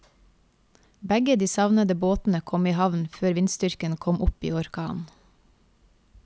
Begge de savnede båtene kom i havn før vindstyrken kom opp i orkan.